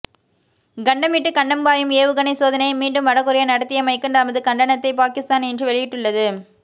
கண்டம் விட்டு கண்டம் பாயும் ஏவுகணை சோதனையை மீண்டும் வட கொரியா நடத்தியமைக்கு தமது கண்டனத்தை பாக்கிஸ்தான் இன்று வெளியிட்டுள்ளது